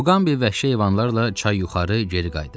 Muqambi vəhşi heyvanlarla çay yuxarı geri qayıdırdı.